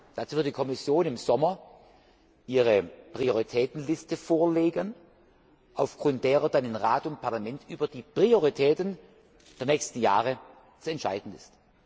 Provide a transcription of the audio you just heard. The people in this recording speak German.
Dazu wird die Kommission im Sommer ihre Prioritätenliste vorlegen, aufgrund derer dann in Rat und Parlament über die Prioritäten der nächsten Jahre zu entscheiden ist.